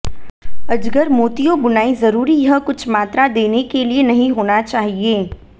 अजगर मोतियों बुनाई जरूरी यह कुछ मात्रा देने के लिए नहीं होना चाहिए